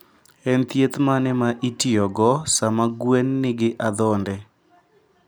En thieth mane ma itiyogo sama gwen nigi adhonde?